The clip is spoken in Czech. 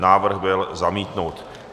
Návrh byl zamítnut.